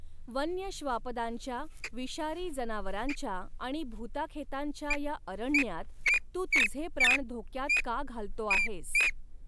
वन्य श्वापदांच्या, विषारी जनावरांच्या आणि भुताखेतांच्या या अरण्यात तू तुझे प्राण धोक्यात का घालतो आहेस